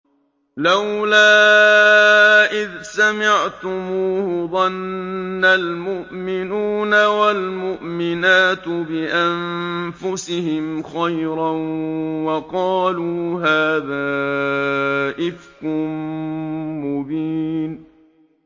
لَّوْلَا إِذْ سَمِعْتُمُوهُ ظَنَّ الْمُؤْمِنُونَ وَالْمُؤْمِنَاتُ بِأَنفُسِهِمْ خَيْرًا وَقَالُوا هَٰذَا إِفْكٌ مُّبِينٌ